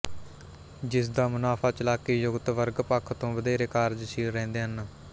ਜਿਸ ਦਾ ਮਨੁਾਫਾ ਚਲਾਕੀ ਜੁਗਤ ਵਰਗ ਪੱਖ ਤੋਂ ਵਧੇਰੇ ਕਾਰਜਸ਼ੀਲ ਰਹਿੰਦੇ ਹਨ